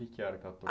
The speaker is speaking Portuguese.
o que que era?